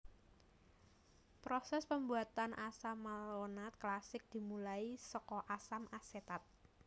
Proses pembuatan asam malonat klasik dimulai saka asam asetat